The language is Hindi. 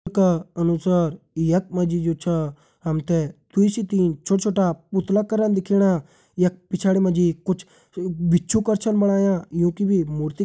का अनुसार यखा मा जु छा हम तें दुई से तीन छोटा छोटा पुतला करन दिखेणा यख पिछाड़ी मा जी कुछ भिछु करा छन बणाया यूँ की भी मूर्ति --